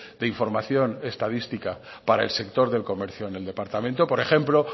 de información estadística para el sector del comercio en el departamento por ejemplo